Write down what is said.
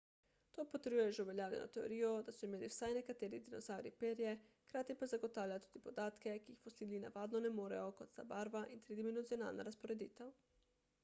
to potrjuje že uveljavljeno teorijo da so imeli vsaj nekateri dinozavri perje hkrati pa zagotavlja tudi podatke ki jih fosili navadno ne morejo kot sta barva in tridimenzionalna razporeditev